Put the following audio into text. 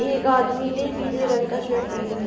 एक आदमी ने पीले रंग का शर्ट पहना है।